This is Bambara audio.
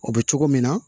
O bɛ cogo min na